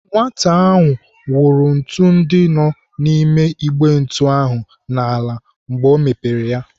Nwata ahụ wụrụ ntụ ndị nọ n'ime Igbe ntu ahụ n'ala mgbe ọ mepere ya.